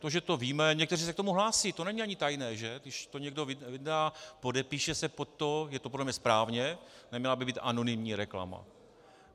To, že to víme, někteří se k tomu hlásí, to není ani tajné, že?, když to někdo vyndá, podepíše se pod to, je to podle mě správně, neměla by být anonymní reklama.